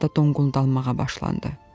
Orada donquldanmağa başlandı.